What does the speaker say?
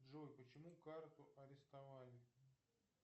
джой почему карту арестовали